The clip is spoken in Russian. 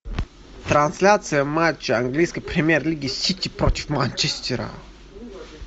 трансляция матча английской премьер лиги сити против манчестера